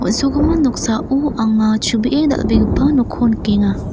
on·sogimin noksao anga chubee dal·begipa nokko nikenga.